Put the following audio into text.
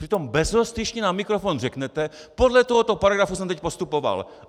Přitom bezostyšně na mikrofon řeknete: Podle tohoto paragrafu jsem teď postupoval.